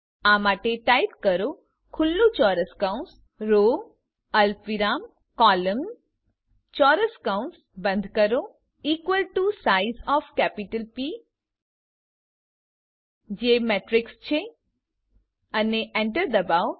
આ માટે ટાઈપ કરો ખુલ્લું ચોરસ કૌંસ રો અલ્પવિરામ કોલમ્ન ચોરસ કૌંસ બંધ કરો equal to size of capital P જે મેટ્રીક્સ છે અને enter દબાવો